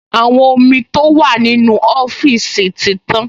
Àwọn omi tó wà nínú ọ́fíìsì ti tán